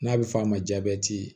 N'a bɛ f'a ma